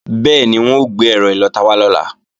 Bẹ́ẹ̀ni, wọ́n ó gbé ẹ̀rọ ìlọta wá lọ́la